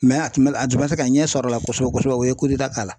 Mɛ a tun bɛ a tun ma se ka ɲɛ sɔrɔ a la kosɛbɛ kosɛbɛ o ye kudeta k'a la